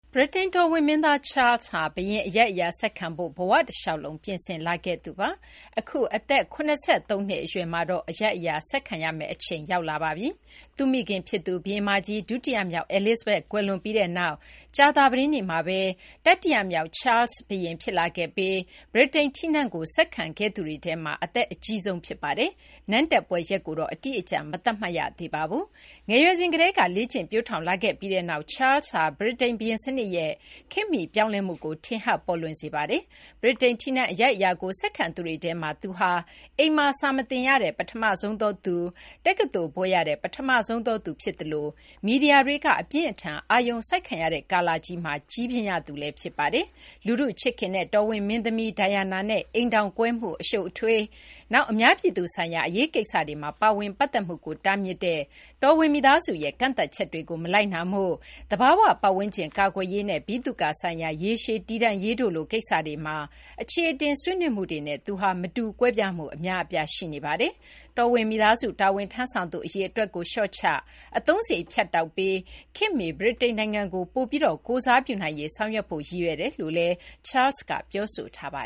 ဗြိတိန် တော်ဝင် မင်းသား Charles ဟာ ဘုရင် အရိုက်အရာ ဆက်ခံဖို့ ဘ၀ တလျှောက်လုံး ပြင်ဆင်လာခဲ့သူပါ။ အခု အသက် ၇၃ နှစ် အရွယ်မှာတော့ အရိုက်အရာ ဆက်ခံရတော့မှာ ဖြစ်ပါတယ်။ သူ့မိခင် ဖြစ်သူ ဘုရင်မကြီး ဒုတိယမြောက် Elizabeth ကွယ်လွန်ပြီးနောက် ကြာသပတေးနေ့မှာဘဲ တတိယမြောက် Charles ဘုရင် ဖြစ်လာခဲ့ပြီး ဗြိတိန် ထီးနန်းကို ဆက်ခံခဲ့သူတွေထဲမှာ အသက်အကြီးဆုံး ဖြစ်ပါတယ်။ နန်းတက်ပွဲ ရက်ကိုတော့ အတိအကျ မသတ်မှတ်ရသေးပါဘူး။ ငယ်ရွယ်စဉ် ကတည်းက လေ့ကျင့် ပျိုးထောင်လာခဲ့ပြီးနောက် Charles ဟာ ဗြိတိန် ဘုရင်စနစ်ရဲ့ ခေတ်မီပြောင်းလဲမှုကို ထင်ဟပ် ပေါ်လွင်စေပါတယ်။ ဗြိတိန် ထီးနန်း အရိုက်အရာကို ဆက်ခံသူတွေထဲမှာ သူဟာ အိမ်မှာ စာမသင်ရတဲ့ ပထမဆုံးသောသူ၊ တက္ကသိုလ် ဘွဲ့ရတဲ့ ပထမဆုံးသောသူ ဖြစ်သလို မီဒီယာတွေက အပြင်းအထန် အာရုံစိုက်ခံရတဲ့ ကာလကြီးမှာ ပထမဆုံး ကြီးပြင်းရသူလည်း ဖြစ်ပါတယ်။ လူထု ချစ်ခင်တဲ့ တော်ဝင် မင်းသမီး Diana နဲ့ အိမ်ထောင်ကွဲမှု အရှုပ်အထွေး၊ နောက် အများပြည်သူဆိုင်ရာ အရေးကိစ္စတွေမှာ ပါဝင်ပတ်သက်မှုကို တားမြစ်တဲ့ တော်ဝင် မိသားစုရဲ့ ကန့်သတ်ချက်တွေကို မလိုက်နာမှု၊ သဘာ၀ ပတ်ဝန်းကျင် ကာကွယ်ရေးနဲ့ ဗိသုကာ ဆိုင်ရာ ရေရှည်တည်တံ့ရေးတို့လို ကိစ္စတွေမှာ အခြေအတင် ဆွေးနွေးမှုတွေနဲ့ သူဟာ မတူကွဲပြားမှု အများအပြား ရှိပါတယ်။ တော်ဝင်မိသားစု တာဝန် ထမ်းဆောင်သူ အရေအတွက်ကို လျှော့ချ၊ အသုံးစာရိတ် ဖြတ်တောက်ပြီး ခေတ်မီ ဗြိတိန်နိုင်ငံကို ပိုပြီး ကိုယ်စားပြုနိုင်ရေး ဆောင်ရွက်ဖို့ ရည်ရွယ်ကြောင်းလည်း Charles က ပြောဆိုထားတာပါ